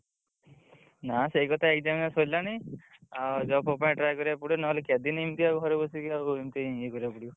ନା ସେଇକଥା exam ବା ସରିଲାଣି ଆଉ job ଫବ ପାଇଁ try କରିବାକୁ ପଡିବ ନହେଲେ କେତେଦିନ୍ ଇମିତି ଆଉ ଘରେ ବସିକି ଆଉ ଇମିତି ୟେ କରିବାକୁ ପଡିବ।